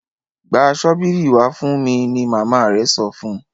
gbà Ṣọ́bìrì wá fún mí! ní mama rẹ sọfún.